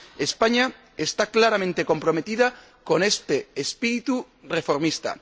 España está claramente comprometida con este espíritu reformista